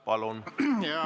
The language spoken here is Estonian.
Palun!